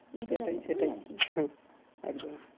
সেটাই সেটাই একদম